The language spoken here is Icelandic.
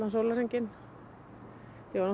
sólarhringinn